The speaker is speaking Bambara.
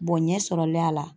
Bɔ ɲɛ sɔrɔ l'a la.